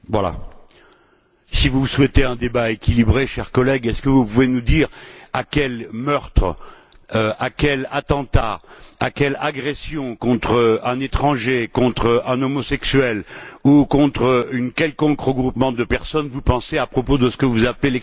Si vous souhaitez un débat équilibré, chers collègues, pouvez vous nous dire à quel meurtre, à quel attentat, à quelle agression contre un étranger, contre un homosexuel ou contre un quelconque regroupement de personnes vous pensez à propos de ce vous appelez l'extrémisme de gauche?